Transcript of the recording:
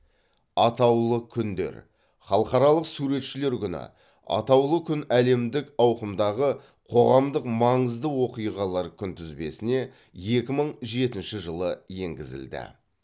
атаулы күндер халықаралық суретшілер күні атаулы күн әлемдік ауқымдағы қоғамдық маңызды оқиғалар күнтізбесіне екі мың жетінші жылы енгізілді